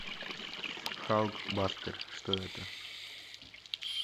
халк бастер что это